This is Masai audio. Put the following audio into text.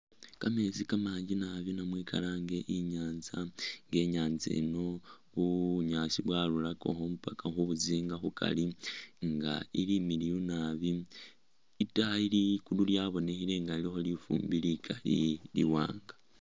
Kameetsi kamanji naabi namwe kalange i'nyanza nga i'nyanza eno bunyaasi bwarurakakho paka khubuzinga khukari nga ili imiliyu naabi itaayi ligulu lyabonekhele nga lilikho lifumbi likali liwaanga